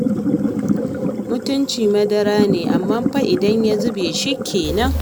Mutunci madara ne, amma fa idan ya zube shi kenan.